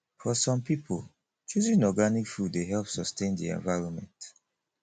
for some pipo choosing organic food dey help sustain di environment